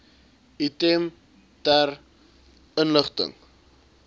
item ter inligting